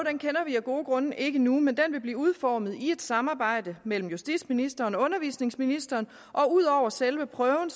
vi af gode grunde ikke endnu men den vil blive udformet i et samarbejde mellem justitsministeren og undervisningsministeren ud over selve prøven